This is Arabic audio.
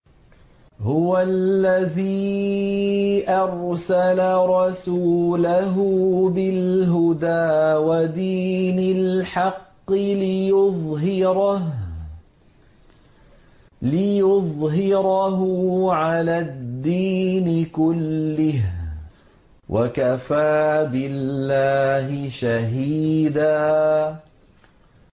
هُوَ الَّذِي أَرْسَلَ رَسُولَهُ بِالْهُدَىٰ وَدِينِ الْحَقِّ لِيُظْهِرَهُ عَلَى الدِّينِ كُلِّهِ ۚ وَكَفَىٰ بِاللَّهِ شَهِيدًا